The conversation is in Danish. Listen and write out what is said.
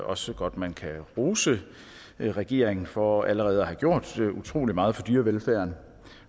også godt at man kan rose regeringen for allerede at have gjort utrolig meget for dyrevelfærden